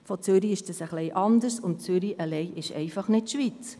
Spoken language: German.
Von Zürich aus ist dies ein wenig anders, und Zürich alleine ist nicht die Schweiz.